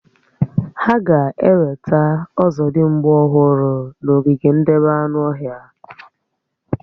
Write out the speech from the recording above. Hà ga-ewetà ọ̀zọ̀dimgba ọhụrụ n'ogige ndebé anụ ọhịa